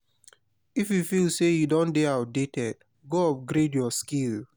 if you feel say you don de dey outdated go upgrade your skill